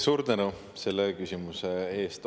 Suur tänu selle küsimuse eest!